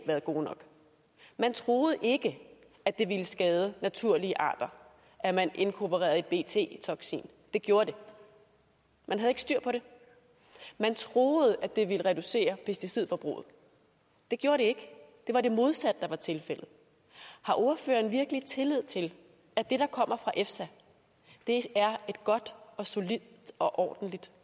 været gode nok man troede ikke at det ville skade naturlige arter at man inkorporerede et bt toksin det gjorde det man havde ikke styr på det man troede at det ville reducere pesticidforbruget det gjorde det ikke det var det modsatte der var tilfældet har ordføreren virkelig tillid til at det der kommer fra efsa er et godt og solidt og ordentligt